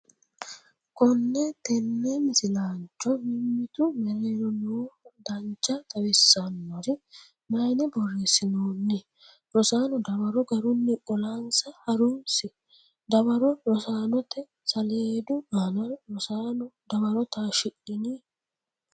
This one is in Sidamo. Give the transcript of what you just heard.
Konne tenne misilaancho • mimmitu mereero nooha dancha xawisannori mayne borreessinoonni? Rosaano dawaro garunni qolansa ha’runsi Dawaro rosaanote saleedu aana Rosaano dawaro taashshidhini?